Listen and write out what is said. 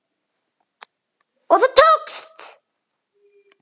Og það tókst!